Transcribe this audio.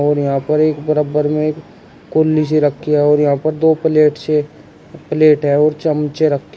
और यहां पर एक बराबर में एक सी रखी है और यहां पर दो प्लेट से प्लेट है और चमचे रखें--